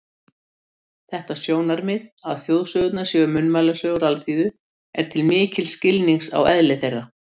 Þetta sjónarmið, að þjóðsögurnar séu munnmælasögur alþýðu, er til mikils skilnings á eðli þeirra.